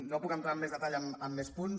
no puc entrar amb més detall en més punts